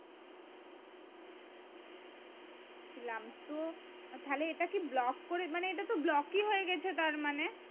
তাহলে এটা কি করে মানে ই হয়ে গেছে তার মানে